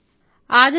మహిళా phone call